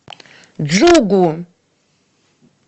джугу